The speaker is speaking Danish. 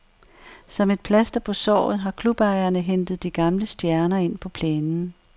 Som et plaster på såret har klubejerne hentet de gamle stjerner ind på plænen.